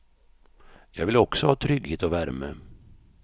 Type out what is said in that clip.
Jag vill också ha trygghet och värme.